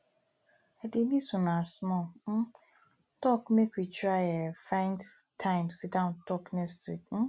i dey miss una small um talk make we try um find time sidon talk nextweek um